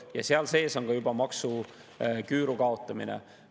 Ja seal sees on juba maksuküüru kaotamine.